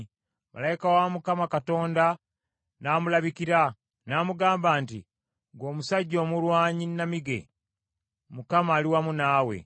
Malayika wa Mukama Katonda n’amulabikira, n’amugamba nti, “Ggwe omusajja omulwanyi namige. Mukama ali wamu naawe.”